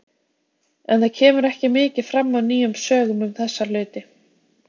En það kemur ekki mikið fram af nýjum sögum um þessa hluti.